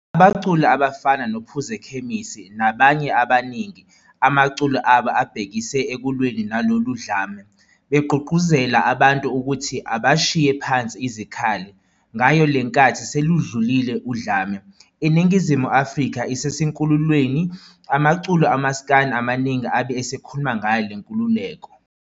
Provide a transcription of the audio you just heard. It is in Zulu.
Abaculi abafana noPhuzekhemisi nabanye abaningi amaculo abo abe ebehekise ekulweni nalolu dlame, beqgugquzela abantu ukuthi abashiye phansi izikhali. Ngayo lenkathi seludlulile udlame, iNingizimu Afrika isisenkululekweni amaculo omasikandi amaningi abe esekhuluma ngayo lenkululeko.